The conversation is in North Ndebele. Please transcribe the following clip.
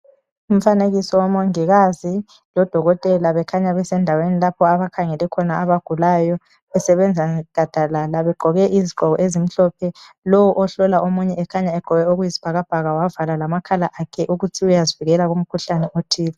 Umfanekiso womongikazi lodokotela bekhanya besendaweni lapho abakhangele khona abagulayo besebenza gadalala begqoke izigqoko ezimhlophe lowu ohlola omunye ekhanya egqoke okuyisibhakabhaka wavala lamakhala akhe ukuthi uyazivikela kumkhuhlane othile.